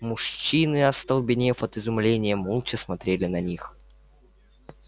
мужчины остолбенев от изумления молча смотрели на них